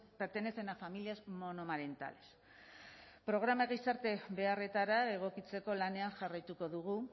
pertenecen a familias monomarentales programak gizarte beharretara egokitzeko lanean jarraituko dugu